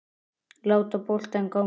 Láta boltann ganga.